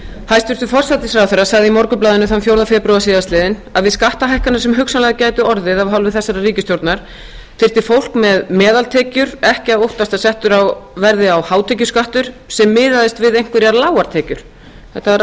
hæstvirtur forsætisráðherra sagði í morgunblaðinu þann fjórða febrúar síðastliðinn að við skattahækkanir sem hugsanlega gætu orðið af hálfu þessarar ríkisstjórnar þyrfti fólk með meðaltekjur ekki að óttast að settur yrði á hátekjuskattur sem miðaðist við einhverjar lágar tekjur þetta var